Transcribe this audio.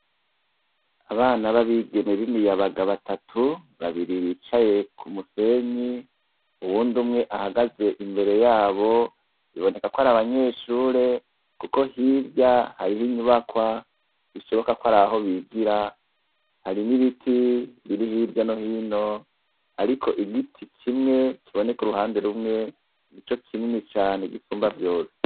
Abana babigeme bimiyabaga batatu babiri bicaye kumusenyi uwundi umwe ahagaze imbere yabo biboneka kwari abanyeshure kuko hirya hariho inyubakwa bishoboka kwaraho bigira hari nibiti biri hirya no hino ariko igiti kimwe kiboneka uruhande rumwe nico kinini cane gisumba vyose